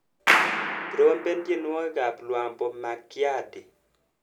Trompen tyenwogikap Lwambo Makiadi.